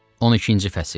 12-ci fəsil.